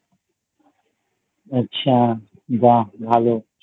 আচ্ছা বাহ্ ভালো